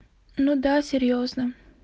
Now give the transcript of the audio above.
ну да серьёзно